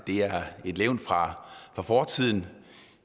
et levn fra fortiden